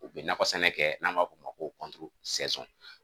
U bɛ nakɔsɛnɛ kɛ n'an b'a f'o ma ko